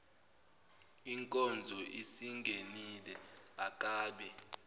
inkonzo isingenile akabe